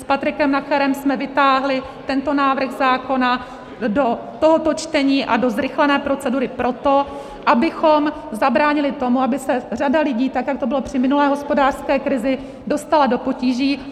S Patrikem Nacherem jsme vytáhli tento návrh zákona do tohoto čtení a do zrychlené procedury proto, abychom zabránili tomu, aby se řada lidí, tak jak to bylo při minulé hospodářské krizi, dostala do potíží.